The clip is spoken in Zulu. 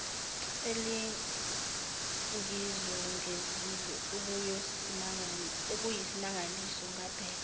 elingizungezile okuyisimangaliso ngabheka